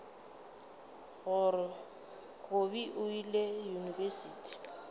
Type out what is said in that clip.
gore kobi o ile yunibesithing